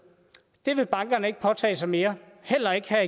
vil bankerne ikke påtage sig mere heller ikke her